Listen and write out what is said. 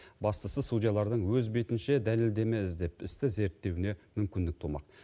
бастысы судьялардың өз бетінше дәлелдеме іздеп істі зерттеуіне мүмкіндік тумақ